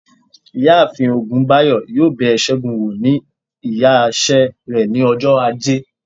iyaafin ogunbayo yọọ bé según wọ̀ ní ìyá ise re ní òjó ajé